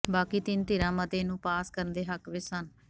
ਬਾਕੀ ਤਿੰਨ ਧਿਰਾਂ ਮਤੇ ਨੂੰ ਪਾਸ ਕਰਨ ਦੇ ਹੱਕ ਵਿੱਚ ਸਨ